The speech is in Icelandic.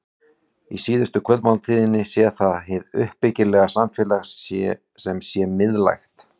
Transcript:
Í síðustu kvöldmáltíðinni sé það hið uppbyggilega samfélag sem sé miðlægt.